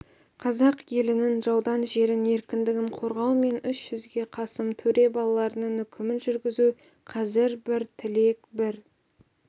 қазақ елінің жаудан жерін еркіндігін қорғау мен үш жүзге қасым төре балаларының үкімін жүргізу қазір бір тілек бір